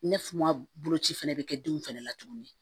Ne fu ma boloci fɛnɛ bɛ kɛ denw fɛnɛ la tuguni